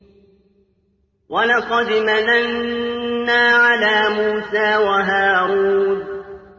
وَلَقَدْ مَنَنَّا عَلَىٰ مُوسَىٰ وَهَارُونَ